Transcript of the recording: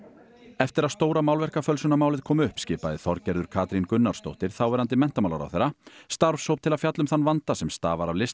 eftir að stóra kom upp skipaði Þorgerður Katrín Gunnarsdóttir þáverandi menntamálaráðherra starfshóp til að fjalla um þann vanda sem stafar af